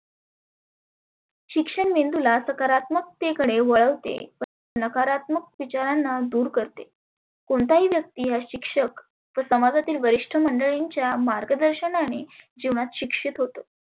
शिक्षण मेंदुला सकारात्मक्ते कडे वळवते. नकारात्मक विचारांना दुर करते कोणताही व्यक्ती हा शिक्षक समाजातील वरिष्ठ मंडळींच्या मार्गदर्शनाने जिवनात शिक्षीत होतो.